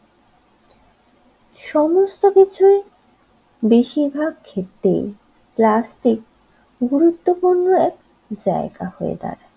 সমস্ত কিছুই বেশিরভাগ ক্ষেত্রেই প্লাস্টিক গুরুত্বপূর্ণ এক জায়গা হয়ে দাঁড়ায়।